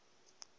ha ii u lafha ha